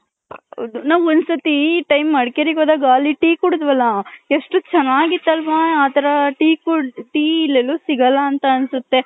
ನಾವ್ ಒಂದ್ ಸತಿ ಮಡಕೇರಿ ಹೋದಾಗ ಅಲ್ಲಿ tea ಕುಡದ್ರಲ್ಲ ಎಷ್ಟ್ ಚೆನ್ನಾಗಿತ್ ಅಲ್ವ ಆ ತರ tea ಇಲ್ ಎಲ್ಲೂ ಸಿಗಲ್ಲ ಅಂತ ಅನ್ಸುತ್ತೆ .